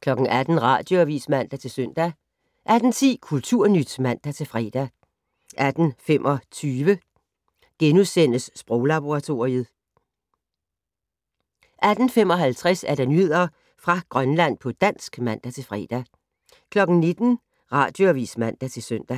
18:00: Radioavis (man-søn) 18:10: Kulturnyt (man-fre) 18:25: Sproglaboratoriet * 18:55: Nyheder fra Grønland på dansk (man-fre) 19:00: Radioavis (man-søn) 19:03: